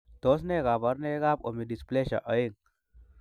Tos nee koborunoikab Omodysplasia oeng'?